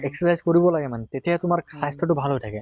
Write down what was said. exercise কৰিব লাগে মানে তেতিয়াহে তোমাৰ স্বাস্থ্য়টো ভাল হৈ থাকে।